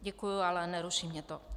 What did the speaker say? Děkuji, ale neruší mě to.